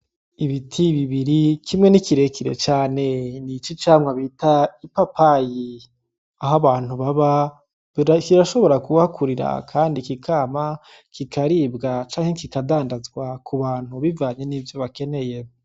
Ibiti bibiri kimwe ni kirekire cane ni c'icamwa bita ipapayi aho abantu ababa kirashobora kuhakurira kandi kikama kikaribwa canke kikadandazwa ku bantu bivanye n'ivyo bakeneye.